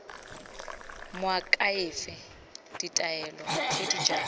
moakhaefe ditaelo tse di jalo